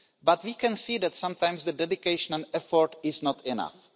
But we can see that sometimes dedication and effort is not enough.